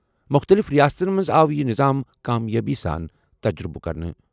مُختٔلِف رِیاستَن منٛز آو یہِ نِظام کامیٲبی سان تجرُبہٕ کرنہٕ۔